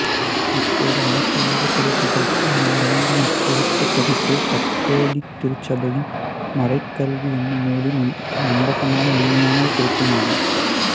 இப்போது அனைத்துலகத் திருச்சபைக்கும் நான் வழங்கும் இச்சுருக்கப் பதிப்பு கத்தோலிக்க திருச்சபையின் மறைக்கல்வி என்னும் நூலின் நம்பகமான உண்மையான சுருக்கமாகும்